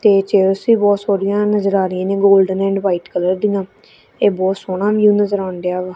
ਤੇ ਚੇਅਰਸ ਵੀ ਬਹੁਤ ਸੋਹਣੀਆਂ ਨਜ਼ਰ ਆ ਰਹੀਆਂ ਨੇਂ ਗੋਲਡਨ ਐਂਡ ਵਾਈਟ ਕਲਰ ਦੀਆਂ ਇਹ ਬਹੁਤ ਸੋਹਣਾ ਵਿਊ ਨਜ਼ਰ ਆਣਡਿਆ ਵਾ।